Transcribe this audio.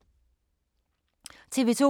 TV 2